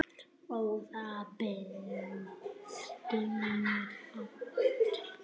Góð bók geymir galdra.